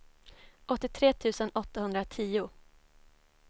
åttiotre tusen åttahundratio